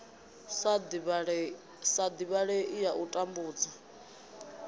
sa divhalei ya u tambudza